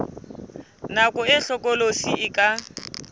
nako e hlokolosi e ka